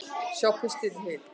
Sjá pistilinn í heild